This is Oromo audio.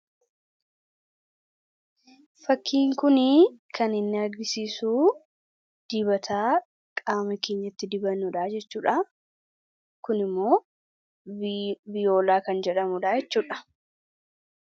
fakkiin kuni kan inni agisiisuu diibataa qaama keenyatti dibannodhaa jechuudha kun immoo viyoolaa kan jedhamu daa'achuudha